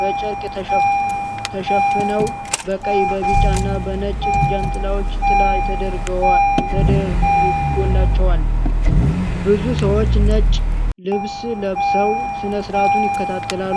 በጨርቅ ተሸፍነው በቀይ፣ በቢጫና በነጭ ጃንጥላዎች ጥላ ተደርጎላቸዋል። ብዙ ሰዎች ነጭ ልብስ ለብሰው ሥነ ሥርዓቱን ይከታተላሉ።